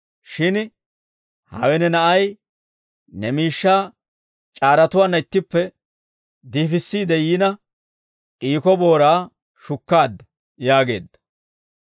shin hawe ne na'ay ne miishshaa c'aaratuwaanna ittippe diifissiide yiina, d'iiko booraa shukkaadda› yaageedda.